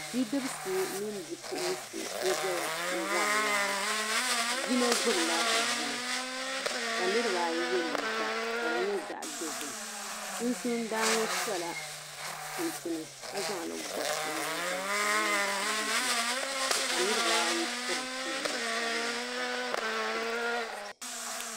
Bidibisi mini bipuɣinsi n-zaya n-wari waa. Yino gbibila zuli ka niriba ayi ye liika ka di nyɛ zaɣ' dozim. Sunsuuni daana ŋɔ sɔla chinchini ka zaŋ li gɔbu o nyiŋgoli ka di nyɛ zaɣ' dozim ka niriba ayi piri namda sabilinli ka piri sɔɣishin piɛlli.